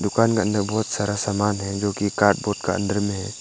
दुकान के अंदर बहुत सारा सामान है जोकि कार्ड बोर्ड का अंदर में है।